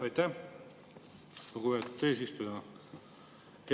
Aitäh, lugupeetud eesistuja!